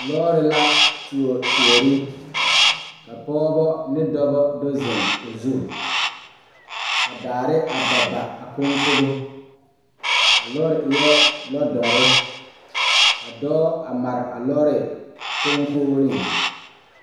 Lɔɔre la tuo tuore ka pɔɔbɔ ne dɔbɔ do zeŋ o zu ka daare a ba ba a koŋkobo a lɔɔre eɛɛ lɔdɔre ka dɔɔ a mare a lɔɔre koŋkogreŋ.